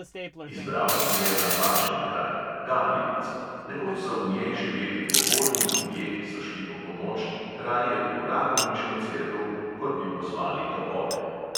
Izbral si je napačen kraj – galjevico; nekoč so v njej živeli pobožni ljudje, ki so šli po pomoč raje v rakovniško cerkev, kot bi pozvali topove.